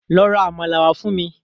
Lọ ra àmàlà wá fún mi